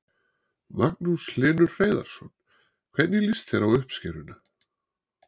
Magnús Hlynur Hreiðarsson: Hvernig líst þér á uppskeruna?